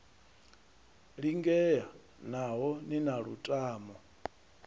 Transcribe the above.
lingea naho ni na lutamo